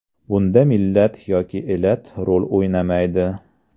Bunda millat yoki elat rol o‘ynamaydi.